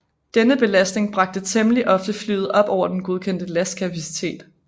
Denne belastning bragte temmelig ofte flyet op over den godkendte lastkapacitet